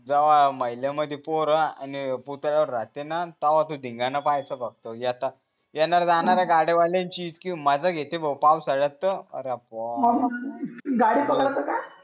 महिल्यामधी पोर आणि पुतळ्यावर राहे त्यांना धिंगाणा पायेचा फक्त त्यांना राहणार आहे गाड्या वाल्यांची इतकी मजा येते भाऊ पाउसाळ्यात तर अरे गाडी पकडाच का